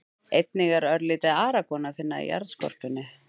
Einnig er örlítið argon að finna í jarðskorpunni.